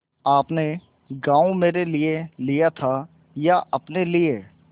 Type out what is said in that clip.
आपने गॉँव मेरे लिये लिया था या अपने लिए